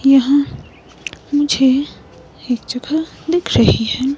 यहां मुझे एक जगह दिख रही है।